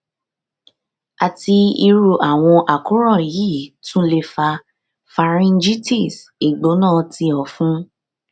ati iru awọn àkóràn yii tun le fa pharyngitis igbona ti ọfun